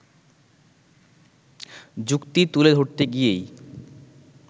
যুক্তি তুলে ধরতে গিয়েই